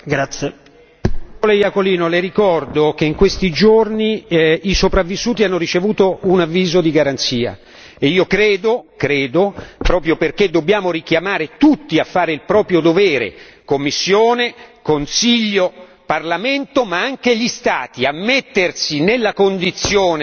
Signora Presidente, onorevoli colleghi, on. Iacolino le ricordo che in questi giorni i sopravvissuti hanno ricevuto un avviso di garanzia e io credo proprio perché dobbiamo richiamare tutti a fare il proprio dovere Commissione, Consiglio, Parlamento, ma anche gli Stati, che occorraa mettersi nella condizione